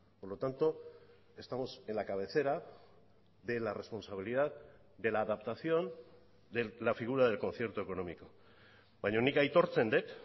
por lo tanto estamos en la cabecera de la responsabilidad de la adaptación de la figura del concierto económico baina nik aitortzen dut